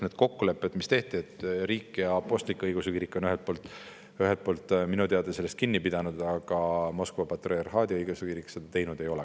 Nendest kokkulepetest, mis tehti, on riik ja apostlik‑õigeusu kirik minu teada kinni pidanud, aga Moskva patriarhaadi õigeusu kirik seda teinud ei ole.